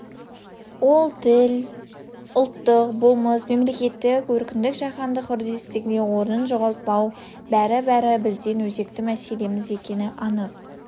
ол тіл діл ұлттық болмыс мемлекеттілік еркіндік жаһандық үрдістегі орнын жоғалтпау бәрі-бәрі біздің өзекті мәселеміз екені анық